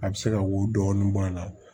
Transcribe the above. A bɛ se ka wo dɔɔni bɔ a la